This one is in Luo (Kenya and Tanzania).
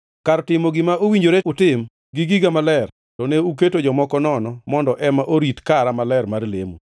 Kar timo gima owinjore utim gi giga maler, to ne uketo jomoko nono mondo ema orit kara maler mar lemo.